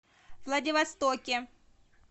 владивостоке